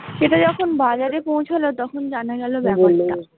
সেটা যখন বাজারে পউছাল তখন জানা গেল ব্যাপার টা ।